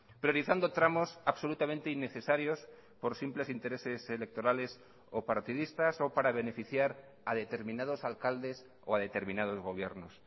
priorizando tramos absolutamente innecesarios por simples intereses electorales o partidistas o para beneficiar a determinados alcaldes o a determinados gobiernos